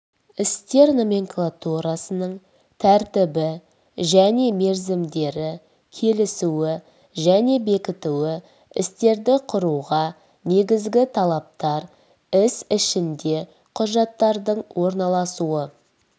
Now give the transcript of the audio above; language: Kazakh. істер номенклатурасының тәртібі және мерзімдері келісуі және бекітуі істерді құруға негізгі талаптар іс ішінде құжаттардың орналасуы